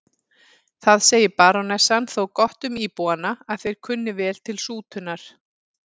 Það segir barónessan þó gott um íbúana að þeir kunna vel til sútunar.